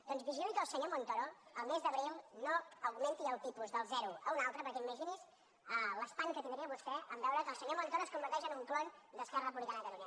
doncs vigili que el senyor montoro el mes d’abril no augmenti el tipus del zero a un altre perquè imagini’s l’espant que tindria vostè en veure que el senyor montoro es converteix en un clon d’esquerra republicana de catalunya